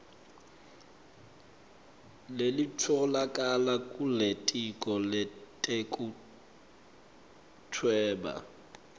lelitfolakala kulitiko letekuhweba